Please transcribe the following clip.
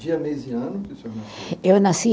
Dia, mês e ano que o senhor nasceu. Eu nasci